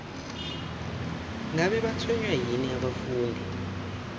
ngabe batshwenywa yini abafundi